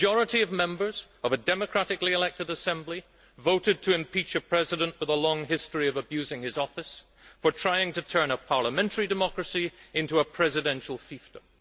A majority of Members of a democratically elected assembly voted to impeach a President with a long history of abusing his office, for trying to turn a parliamentary democracy into a presidential fiefdom.